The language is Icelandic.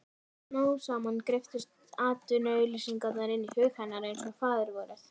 Smám saman greyptust atvinnuauglýsingarnar inn í hug hennar einsog Faðirvorið.